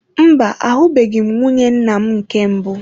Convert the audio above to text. Mba, ahubeghi m nwunye nnam nke mbụ.